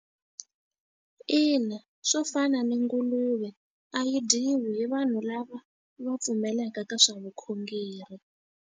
Ina, swo fana ni nguluve a yi dyiwi hi vanhu lava va pfumelaka ka swa vukhongeri.